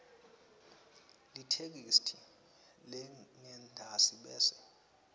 letheksthi lengentasi bese